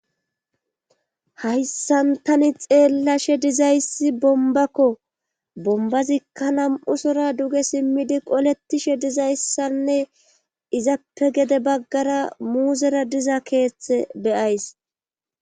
hayssan tani xeellashe dizayssi bombakko bombazikka nam''u sora duge simmidi qoletishe dizayssanne izappe gede baggara muuzera diza keeththe beyays.